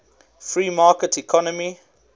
free market economy